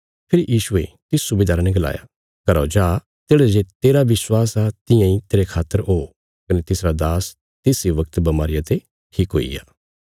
फेरी यीशुये तिस सुबेदारा ने गलाया घरौ जा तेढ़ा जे तेरा विश्वास आ तियां इ तेरे खातर ओ कने तिसरा दास तिस इ वगत बमारिया ते ठीक हुईग्या